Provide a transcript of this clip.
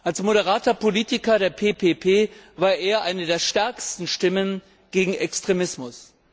Als moderater Politiker der PPP war Salman Taseer eine der stärksten Stimmen gegen Extremismus.